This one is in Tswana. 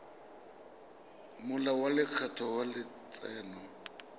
molao wa lekgetho wa letseno